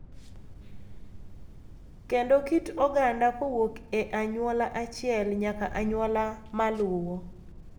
Kendo kit oganda kowuok e anyuola achiel nyaka anyuola maluwo